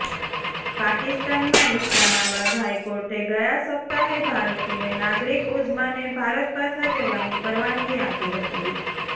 પાકિસ્તાનમાં ઇસ્લામાબાદ હાઇકોર્ટે ગયા સપ્તાહે ભારતીય નાગરિક ઉઝ્માને ભારત પાછા જવાની પરવાનગી આપી હતી